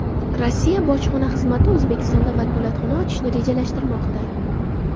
Rossiya bojxona xizmati O‘zbekistonda vakolatxona ochishni rejalashtirmoqda.